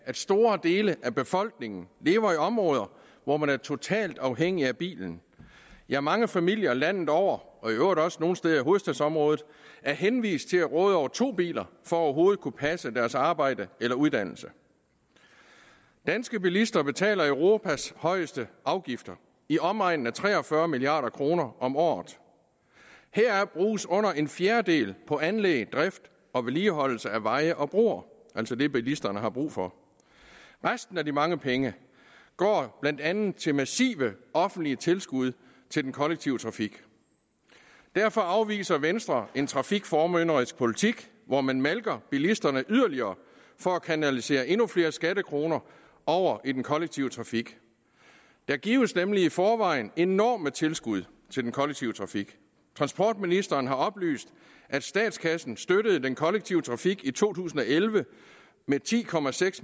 at store dele af befolkningen lever i områder hvor man er totalt afhængig af bilen ja mange familier landet over og i øvrigt også nogle steder i hovedstadsområdet er henvist til at råde over to biler for overhovedet at kunne passe deres arbejde eller uddannelse danske bilister betaler europas højeste afgifter i omegnen af tre og fyrre milliard kroner om året heraf bruges under en fjerdedel på anlæg drift og vedligeholdelse af veje og broer altså det bilisterne har brug for resten af de mange penge går blandt andet til massive offentlige tilskud til den kollektive trafik derfor afviser venstre en trafikformynderisk politik hvor man malker bilisterne yderligere for at kanalisere endnu flere skattekroner over i den kollektive trafik der gives nemlig i forvejen enorme tilskud til den kollektive trafik transportministeren har oplyst at statskassen støttede den kollektive trafik i to tusind og elleve med ti